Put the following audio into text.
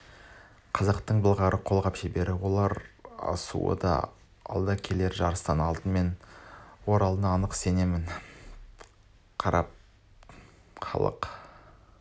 қазақтың былғары қолғап шеберінің алар асуы алда келер жарыстан алтынмен ораларына нық сеніммен қарап тарқасты халық